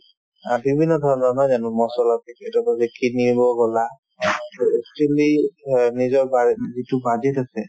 অ, বিভিন্ন ধৰণৰ নহয় জানো মছলা packet ৰ পৰা যে কিনিব গ'লা actually ধৰা নিজৰ বাজে যিটো budget আছে